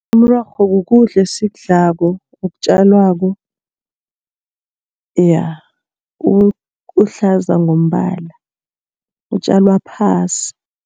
Umrorho kukudla esikudlako okutjalwako. Ja uhlaza ngombala, utjalwa phasi.